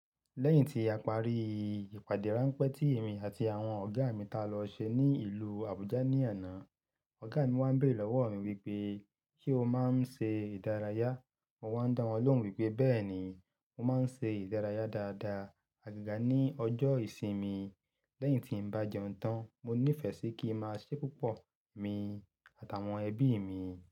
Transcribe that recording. Lẹ́yìn tí a parí ìpàdé ránpẹ́ tí èmi àti àwọn ọ̀gá mi ta lọ ṣe ní ìlú Abuja ní àná, ọ̀gá mi wá ń bèrè lọ́wọ́ mi wípé, "Ṣé o máa ń ṣe ìdárayá?" Mo wá ń dá wọn lóhùn wípé bẹ́ẹ̀ni mo máa ń ṣe ìdárayá dáadaa, àgaga ní ọjọ́ ìsinmi. Lẹ́yìn tí ń bá jẹun tán, mo ní ìfẹ́ sí kí n máa ṣé pupọ̀ emi àtàwọn ẹbí mi.